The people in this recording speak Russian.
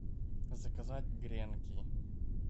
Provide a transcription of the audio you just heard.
заказать гренки